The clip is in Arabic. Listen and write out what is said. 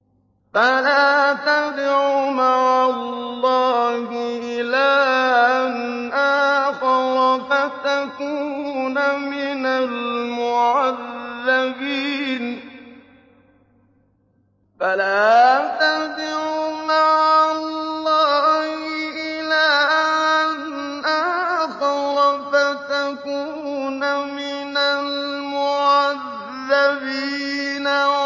فَلَا تَدْعُ مَعَ اللَّهِ إِلَٰهًا آخَرَ فَتَكُونَ مِنَ الْمُعَذَّبِينَ